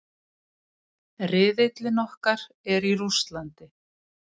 Riðillinn okkar í Rússlandi.